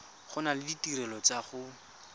gola le ditirelo tsa go